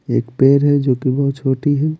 एक पैर है जो कि बहुत छोटी है।